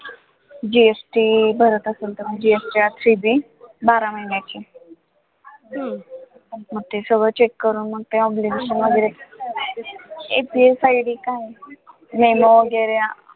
GST भरत असेल तर GSTbalance sheet बारा महिन्याची हम्म मग ते सगळं check करून मग ते obligation वैगरे ए FSID काय आहे वैगरे